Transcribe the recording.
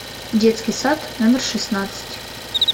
детский сад номер шестнадцать